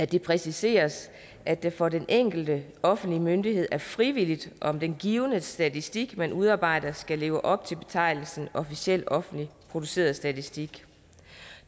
det præciseres at det for den enkelte offentlige myndighed er frivilligt om den givne statistik man udarbejder skal leve op til betegnelsen officiel offentligt produceret statistik